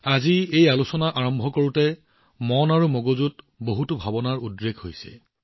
আজি আমি এই আলোচনা আৰম্ভ কৰাৰ লগে লগে মন আৰু হৃদয়ত অলেখ চিন্তাৰ উদ্ভৱ হৈছে